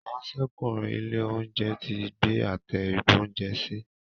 Ìráńṣẹ́kùnrin ilé-oúnjẹ tí gbé Àtẹ ìgbóúnjẹsí.